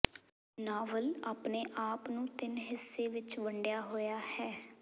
novel ਆਪਣੇ ਆਪ ਨੂੰ ਤਿੰਨ ਹਿੱਸੇ ਵਿੱਚ ਵੰਡਿਆ ਹੋਇਆ ਹੈ